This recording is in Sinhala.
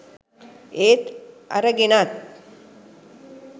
ඒත් අරගෙනත්.